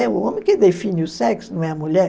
É o homem que define o sexo, não é a mulher.